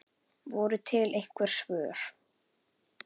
Voru til einhver svör?